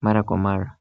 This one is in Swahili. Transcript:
mara kwa mara.